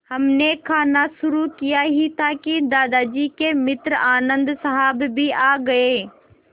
हमने खाना शुरू किया ही था कि दादाजी के मित्र आनन्द साहब भी आ गए